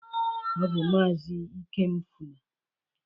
Ọ bụ maazị Ikemefuna.